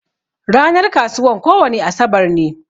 Ranar kasuwan kowani asabar ne.